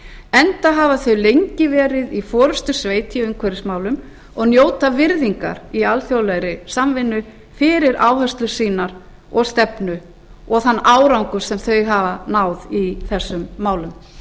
enda hafa þau lengi verið í forustusveit í umhverfismálum og njóta virðingar í alþjóðlegri samvinnu fyrir áherslur sínar og stefnu og þann árangur sem þau hafa náð í þeim málum